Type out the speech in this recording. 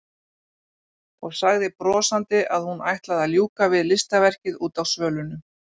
Og sagði brosandi að hún ætlaði að ljúka við listaverkið úti á svölunum.